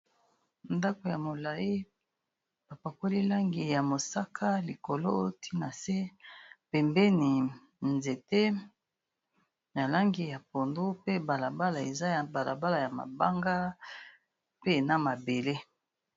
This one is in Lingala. Ndako ya molayi ba pakoli langi ya mosaka likolo, tiii na se. Pembeni nzete na langi ya pondu, pe bala bala eza ya bala bala ya mabanga pe na mabele.